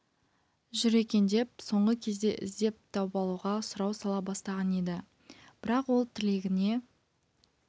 жүр екен деп соңғы кезде іздеп тауып алуға сұрау сала бастаған еді бірақ ол тілегіне